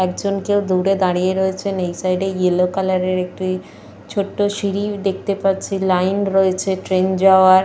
একজন কেউ দূরে দাঁড়িয়ে রয়েছেন। এই সাইড এ ইয়েলো কালার এর একটি ছোট্ট সিঁড়ি দেখতে পাচ্ছি। লাইন রয়েছে ট্রেন যাওয়ার।